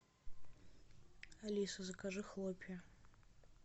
алиса закажи хлопья